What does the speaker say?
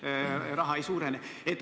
... süsteemis raha hulk ei suurene.